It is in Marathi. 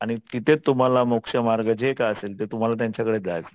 तिथे तुम्हाला मोक्ष मार्ग जे काय असेल ते